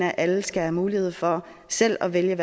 at alle skal have mulighed for selv at vælge